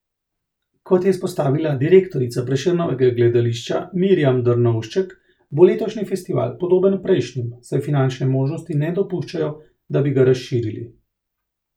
Kot je izpostavila direktorica Prešernovega gledališča Mirjam Drnovšček, bo letošnji festival podoben prejšnjim, saj finančne možnosti ne dopuščajo, da bi ga razširili.